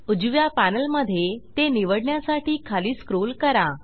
उजव्या पॅनल मध्ये ते निवडण्यासाठी खाली स्क्रोल करा